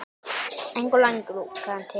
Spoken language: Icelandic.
Hvern ætti hún að flýja?